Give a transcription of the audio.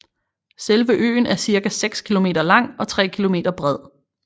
Selve øen er cirka 6 km lang og 3 km bred